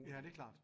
Ja det klart